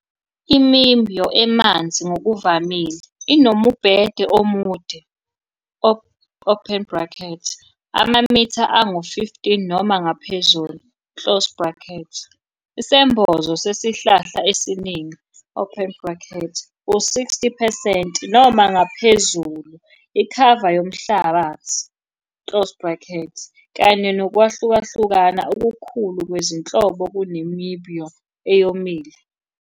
I-miombo emanzi ngokuvamile inombhede omude open bracket amamitha angu-15 noma ngaphezulu closed bracket, isembozo sesihlahla esiningi open bracket u-60 percent noma ngaphezulu ikhava yomhlabathi closed bracket, kanye nokwehlukahlukana okukhulu kwezinhlobo kunemiombo eyomile.